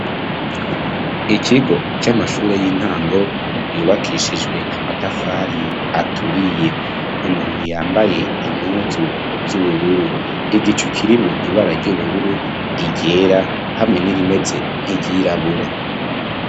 Ikigo c'amashure y'intango yubakishijwe amatafari aturiye umuntu yambaye inkuzu zubururu igicu kirimwo ibara ry'ubururu iryera hamwe n'irimeze n'iryirabura.